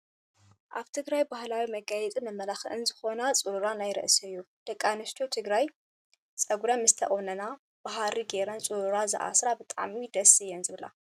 ኣብ ትግራይ ባህላዊ መጋየፅን መመላክዕን ዝኮነ ፁሩራ ናይ ርእሲ እዩ። ደቂ ኣንስትዮ ትግራይ ፀጉረን ምስ ተቆነና ብሃሪ ገረን ፁሩራ ዝኣስራ ብጣዕሚ ደስ እየን ዝብላ።